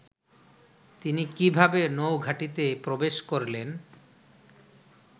তিনি কিভাবে নৌঘাঁটিতে প্রবেশ করলেন